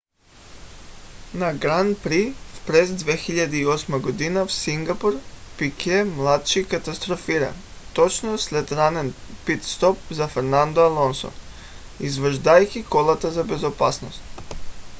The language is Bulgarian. на гран при през 2008 г. в сингапур пике младши катастрофира точно след ранен пит стоп за фернандо алонсо изваждайки колата за безопасност